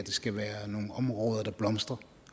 skal være nogle områder der blomstrer